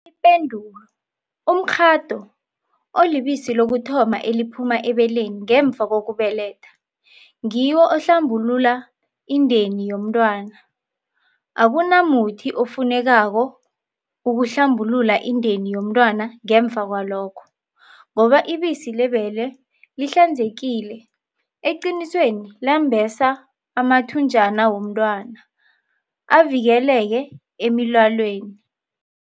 Ipendulo- Umkghado, olibisi lokuthoma eliphuma ebeleni ngemva kokubeletha, ngiwo ohlambulula indeni yomntwana. Akunamuthi ofunekako ukuhlambulula indeni yomntwana ngemva kwalokho, ngoba ibisi lebele lihlanzekile, eqinisweni lembesa amathunjana womntwana, avikeleke emilwaneni.